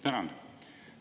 Tänan!